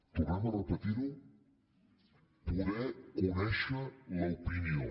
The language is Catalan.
tornem a repetir ho poder conèixer l’opinió